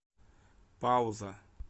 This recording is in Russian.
пауза